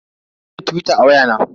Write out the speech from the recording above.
Zan sauke tuwita a waya na.